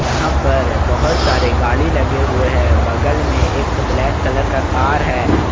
यहां पर बहोत सारे गाड़ी लगे हुए हैं बगल में एक ब्लैक कलर का कार है।